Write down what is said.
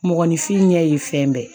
Mɔgɔninfin ɲɛ ye fɛn bɛɛ